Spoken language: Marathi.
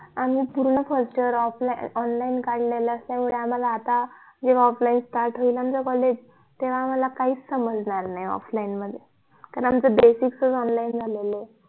आम्ही पूर्ण first year offline online काढलेलं तेवढ आता आम्हला जेव्हा offline start होईल आमचं college तेव्हा आम्हला काही च समजणार नाही offline मध्ये कारण आमचं basic च online झालेलं ये